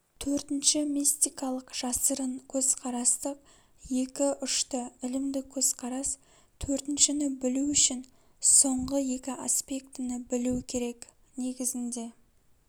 төртінші мистикалык жасырын көзқарастық екі-ұшты ілімдік көзкарас төртіншіні білу үшін соңғы екі аспектіні білу керек негізінде